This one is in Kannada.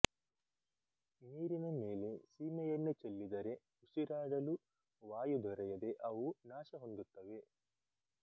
ನೀರಿನ ಮೇಲೆ ಸೀಮೆ ಎಣ್ಣೆ ಚೆಲ್ಲಿದರೆ ಉಸಿರಾಡಲು ವಾಯು ದೊರೆಯದೆ ಅವು ನಾಶ ಹೊಂದುತ್ತವೆ